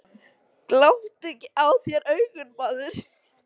Gláptu ekki úr þér augun, maður.